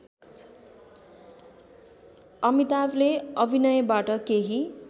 अमिताभले अभिनयबाट केही